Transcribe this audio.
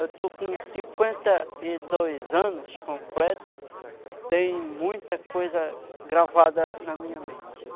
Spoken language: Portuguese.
Eu estou com cinquenta e dois anos completo, tem muita coisa gravada na minha mente.